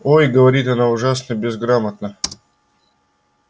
ой говорит она ужасно безграмотно